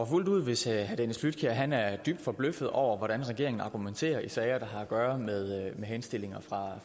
fuldt ud hvis herre dennis flydtkjær er dybt forbløffet over hvordan regeringen argumenterer i sager der har at gøre med henstillinger fra